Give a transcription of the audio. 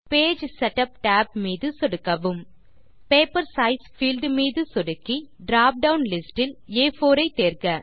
page setup tab மீது சொடுக்கவும் paper size field மீது சொடுக்கி drop டவுன் லிஸ்ட் இல் ஆ4 ஐ தேர்க